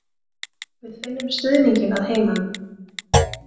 Við finnum stuðninginn að heiman.